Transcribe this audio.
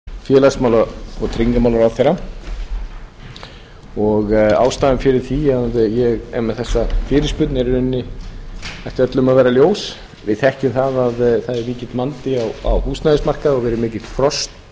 virðulegi forseti ég ætla að beina fyrirspurn til hæstvirts félags og tryggingamálaráðherra ástæðan fyrir því að ég er með þessa fyrirspurn ætti öllum að vera ljós við þekkjum það að það er mikill vandi á húsnæðismarkaði og verið mikið frost